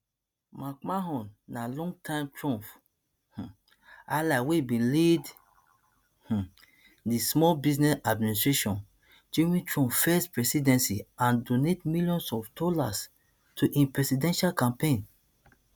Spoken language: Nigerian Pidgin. mcmahon na longtime trump um ally wey bin lead um di small business administration during trump first presidency and donate millions of dollars to im presidential campaign